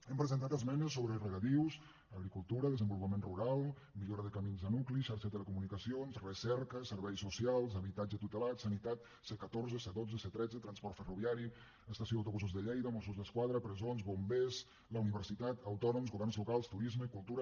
hem presentat esmenes sobre regadius agricultura desenvolupament rural millora de camins a nuclis xarxa de telecomunicacions recerca serveis socials habitatge tutelat sanitat c catorze c dotze c tretze transport ferroviari estació d’autobusos de lleida mossos d’esquadra presons bombers la universitat autònoms governs locals turisme cultura